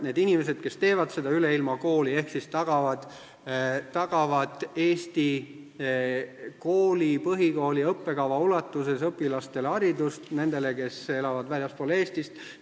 Need inimesed, kes seda kooli teevad, tagavad haridust Eesti põhikooli õppekava ulatuses nendele õpilastele, kes elavad väljaspool Eestit.